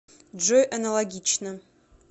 джой аналогично